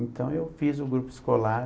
Então eu fiz o grupo escolar.